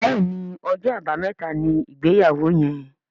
Béèni Ọjọ́ Àbàmẹ́ta ní ìgbéyàwó yén.